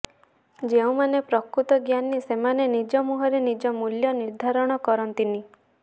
ଯେଉଁମାନେ ପ୍ରକୃତ ଜ୍ଞାନୀ ସେମାନେ ନିଜ ମୁହଁରେ ନିଜ ମୂଲ୍ୟ ନିର୍ଦ୍ଧାରଣ କରନ୍ତିନି